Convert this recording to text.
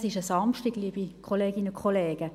Es ist ein Samstag, liebe Kolleginnen und Kollegen.